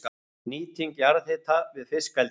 Nýting jarðhita við fiskeldi